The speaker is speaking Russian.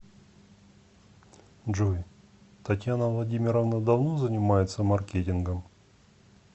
джой татьяна владимировна давно занимается маркетингом